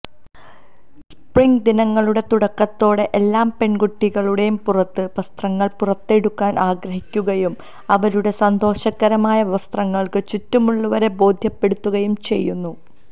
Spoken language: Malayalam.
സ്പ്രിംഗ് ദിനങ്ങളുടെ തുടക്കത്തോടെ എല്ലാ പെൺകുട്ടികളും പുറത്തെ വസ്ത്രങ്ങൾ പുറത്തെടുക്കാൻ ആഗ്രഹിക്കുകയും അവരുടെ സന്തോഷകരമായ വസ്ത്രങ്ങൾക്ക് ചുറ്റുമുള്ളവരെ ബോധ്യപ്പെടുത്തുകയും ചെയ്യുന്നു